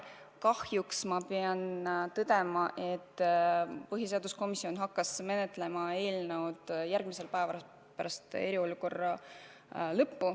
Kahjuks ma pean tõdema, et põhiseaduskomisjon hakkas eelnõu menetlema järgmisel päeval pärast eriolukorra lõppu.